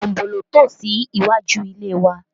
Tambóló tò sí iwájú ilé wa